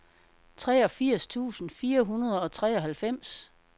treogfirs tusind fire hundrede og treoghalvfems